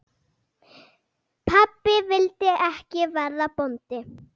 Pabbi vildi ekki verða bóndi.